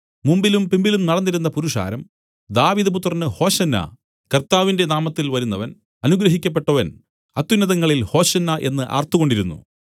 മുമ്പിലും പിമ്പിലും നടന്നിരുന്ന പുരുഷാരം ദാവീദ് പുത്രന് ഹോശന്നാ കർത്താവിന്റെ നാമത്തിൽ വരുന്നവൻ അനുഗ്രഹിക്കപ്പെട്ടവൻ അത്യുന്നതങ്ങളിൽ ഹോശന്നാ എന്നു ആർത്തുകൊണ്ടിരുന്നു